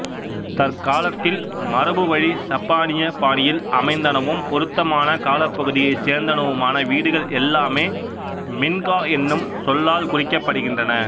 தற்காலத்தில் மரபுவழிச் சப்பானியப் பாணியில் அமைந்தனவும் பொருத்தமான காலப்பகுதியைச் சேர்ந்தனவுமான வீடுகள் எல்லாமே மின்கா என்னும் சொல்லால் குறிக்கப்படுகின்றன